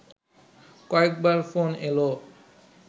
কয়েকবার ফোন এলো